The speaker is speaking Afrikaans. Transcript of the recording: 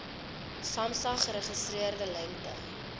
samsa geregistreerde lengte